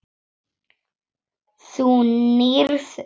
Þú nýrð augun.